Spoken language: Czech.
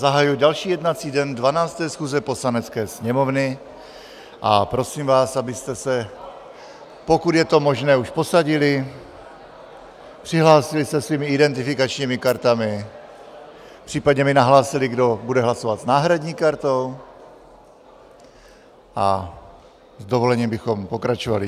Zahajuji další jednací den 12. schůze Poslanecké sněmovny a prosím vás, abyste se, pokud je to možné, už posadili, přihlásili se svými identifikačními kartami, případně mi nahlásili, kdo bude hlasovat s náhradní kartou, a s dovolením bychom pokračovali.